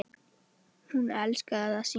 Hún elskaði að syngja.